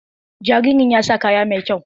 Jaririn ya sa kaya mai kyau.